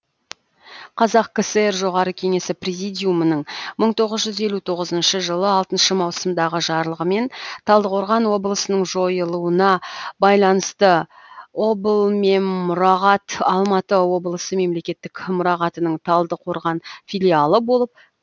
қазақ кср жоғары кеңесі президиумының мың тоғыз жүз елу тоғызыншы жылы алтыншы маусымдағы жарлығымен талдықорған облысының жойылуына байланысты облмеммұрағат алматы облысы мемлекеттік мұрағатының талдықорған филиалы болып қайта құрылды